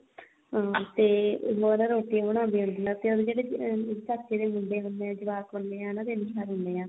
ਅਹ ਤੇ ਉਹ ਨਾ ਰੋਟੀ ਬਣਾਉਂਦੀ ਹੁੰਦੀ ਆ ਤੇ ਉਹਦੀ ਜਿਹੜੀ ਚਾਚੇ ਦੇ ਮੁੰਡੇ ਹੁੰਦੇ ਆ ਜਵਾਕ ਹੁਣੇ ਆ ਤਿੰਨ ਚਾਰ ਹੁਣੇ ਆ